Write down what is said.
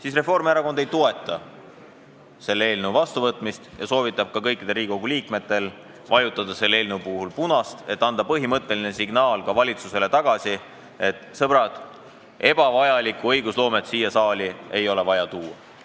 Seetõttu ei toeta Reformierakond selle seaduse vastuvõtmist ja soovitab kõikidel Riigikogu liikmetel vajutada punast nuppu, et anda ka valitsusele põhimõtteline signaal, et, sõbrad, ebavajalikku õigusloomet ei ole vaja siia saali tuua.